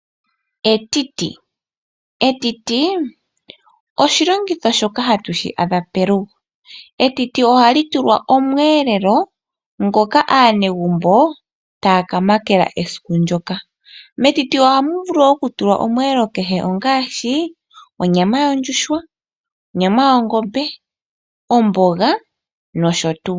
Etiti, etiti oshilongitho shoka hatu shi adha pelugo. Etiti ohali tulwa omweelelo ngoka aanegumbo taya kamakela esiku ndyoka. Metiti ohamu vulu okutulwa omweelelo kehe, ongaashi onyama yondjuhwa, onyama yongombe, omboga nosho tuu.